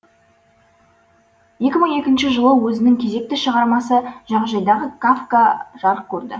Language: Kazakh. екі мың екінші жылы өзінің кезекті шығармасы жағажайдағы кафка жарық көрді